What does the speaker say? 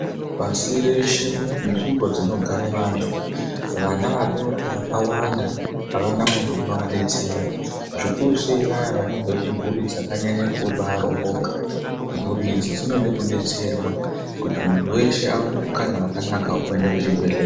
Pasi reshe munzvimbo dzinogara vantu vana vadoko vakàwanda avana vantu vanovadetsera. Zvikurusei vaya vanobva kumburi dzakanyanya kubaaromboka ,mburi idzi dzinofa kudetserwa kuti antu eshe awane mukana wekuenda kuzvibhedhleya .